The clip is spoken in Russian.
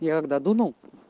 я когда дунул